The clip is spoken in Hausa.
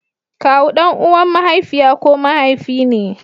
Kawu dan uwan mahaifiya ko mahaifi ne.